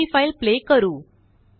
आता हि file play करू